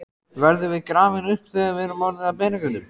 Verðum við grafin upp þegar við erum orðin að beinagrindum?